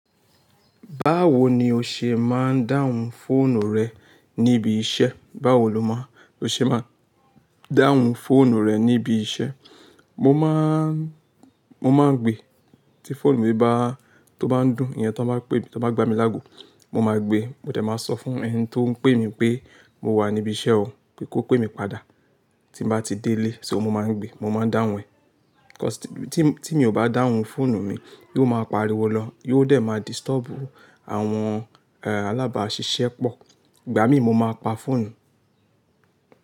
Báwo ni o ṣe máa ń dáhùn fóònù rẹ níbi iṣẹ́? Báwo lo má, lo ṣe máa ń dáhùn fóònù rẹ níbi iṣẹ́? Mo máa, mo máa ń gbe tí fóònù mi bá, tó bá ń dún, ìyẹn tí wọ́n bá pè mí, tí wọ́n bá gbá mi lágo, mo máa gbe. Mo tẹ̀ máa sọ fún ẹni tó ń pè mí pé mo wà níbi iṣẹ́ o, pé kó pè mí padà. Tí mo bá ti délé, só mo máa ń gbe, mo máa ń dáhùn ẹ̀. 'Kos tí, tí mi ò bá dáhùn fóònù mi, yóò máa pariwo lọ, yóò dẹ̀ máa distọ̀ọ́bu àwọn, eh, alábáṣiṣẹ́ pọ̀. Ìgbà mí mo máa pa fóònù.